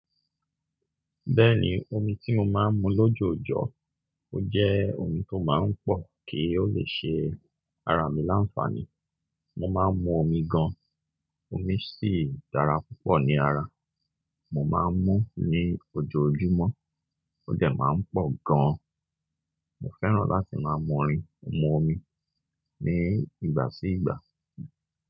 Bẹ́ẹ̀ni, omi tí mo máa ń mu lójoojọ́, ó jẹ́ omi tó máa ń pọ̀, kì ó lè ṣe ara mi láǹfààní. Mo máa ń mu omi gan-an, omi sì dára púpọ̀ ní ara. Mo máa ń mú ní ojoojúmọ́, ó dẹ̀ máa ń pọ̀ gan-an. Mo fẹ́ràn láti máa mú rin, mo mu omi ní ìgbà sí ìgbà.